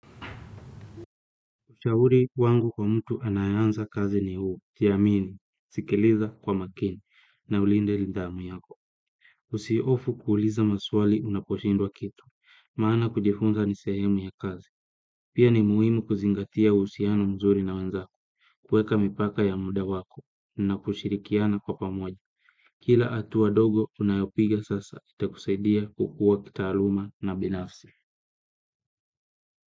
Ushauri wangu kwa mtu anayeanza kazi ni huu, jiamini, sikiliza kwa makini, na ulinde lidhamu yako. Usiofu kuuliza maswali unaposhindwa kitu, maana kujifunza nisehemu ya kazi. Pia ni muhimu kuzingatia uhusiano mzuri na wenzako, kueka mipaka ya muda wako, na kushirikiana kwa pamoja. Kila hatua dogo unayopiga sasa, itakusaidia kukua kita aluma na binafsi.